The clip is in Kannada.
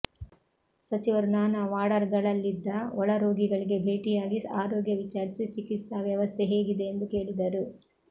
ಸಚಿವರು ನಾನಾ ವಾಡರ್್ಗಳಲ್ಲಿದ್ದ ಒಳ ರೋಗಿಗಳಿಗೆ ಭೇಟಿಯಾಗಿ ಆರೋಗ್ಯ ವಿಚಾರಿಸಿ ಚಿಕಿತ್ಸಾ ವ್ಯವಸ್ಥೆ ಹೇಗಿದೆ ಎಂದು ಕೇಳಿದರು